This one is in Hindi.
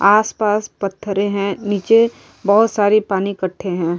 आसपास पत्थरें हैं नीचे बहत सारे पानी इकट्ठे हैं।